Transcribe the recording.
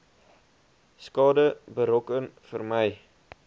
skade berokken vermy